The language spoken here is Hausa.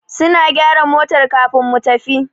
Suna gyara motar kafin mu tafi.